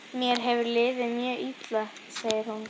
Mér hefur liðið mjög illa, segir hún.